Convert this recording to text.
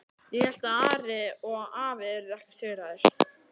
Ég hélt að Ari og afi yrðu ekki sigraðir.